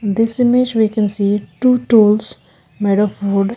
In this image we can see two tools made of wood.